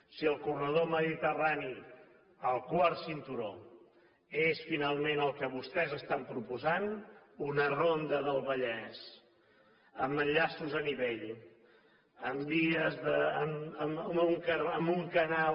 si al corredor mediterrani el quart cinturó és finalment el que vostès estan proposant una ronda del vallès amb enllaços a nivell amb un canal